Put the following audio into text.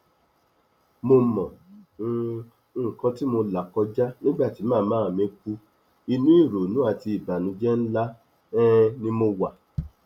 mo mọ um nǹkan tí mo là kọjá nígbà tí màmá mi kú inú ìrònú àti ìbànújẹ ńlá um ni mo wà